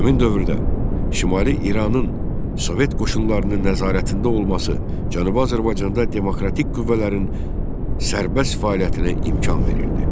Həmin dövrdə Şimali İranın sovet qoşunlarının nəzarətində olması Cənubi Azərbaycanda demokratik qüvvələrin sərbəst fəaliyyətinə imkan verirdi.